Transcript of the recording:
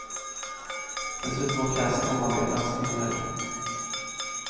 Dessutom har pjäsen omarbetats en hel del.